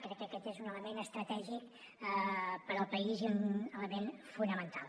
crec que aquest és un element estratègic per al país i un element fonamental